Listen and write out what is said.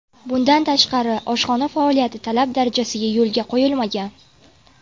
Bundan tashqari, oshxona faoliyati talab darajasida yo‘lga qo‘yilmagan.